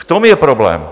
V tom je problém.